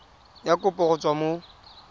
ya kopo go tswa mo